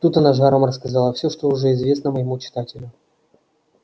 тут она с жаром рассказала все что уже известно моему читателю